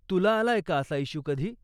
तुला आलाय का असा इश्यू कधी?